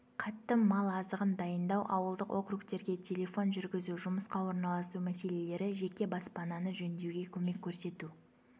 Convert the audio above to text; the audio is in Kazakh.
қатты мал азығын дайындау ауылдық округтерге телефон жүргізу жұмысқа орналасу мәселелері жеке баспананы жөндеуге көмек көрсету